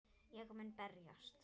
Ég mun berjast